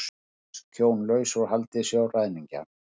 Bresk hjón laus úr haldi sjóræningja